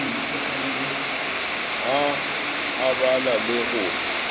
ha a bala le ho